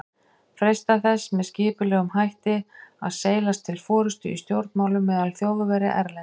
freistað þess með skipulegum hætti að seilast til forystu í stjórnmálum meðal Þjóðverja erlendis.